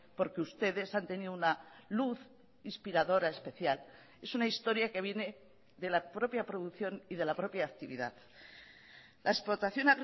porque ustedes han tenido una luz inspiradora especial es una historia que viene de la propia producción y de la propia actividad la explotación